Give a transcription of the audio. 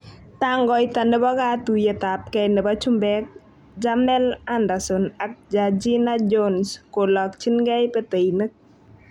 Tangoita nepo katuiyet ap gei nepo chumbeek:Jamel Anderson ak Gergina Jones kolakchigei peteinik